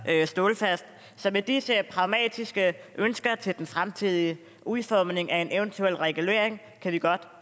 er stålfast så med disse pragmatiske ønsker til den fremtidige udformning af en eventuel regulering kan vi godt